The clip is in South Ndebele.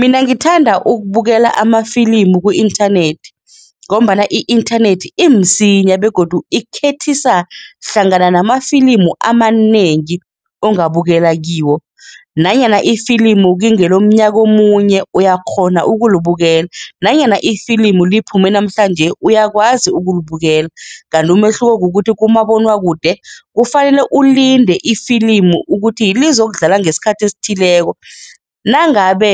Mina ngithanda ukubukela amafilimu ku-inthanethi ngombana i-inthanethi imsinya begodu ikukhethisa hlangana namafilimu amanengi ongabukela kiwo nanyana ifilimu kungelomnyaka omunye uyakghona ukulibukela nanyana ifilimu liphume namhlanje uyakwazi ukulibukela, kanti umehluko kukuthi kumabonwakude kufanele ulinde ifilimu ukuthi lizokudlala ngesikhathi esithileko. Nangabe